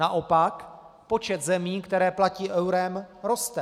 Naopak počet zemí, které platí eurem, roste.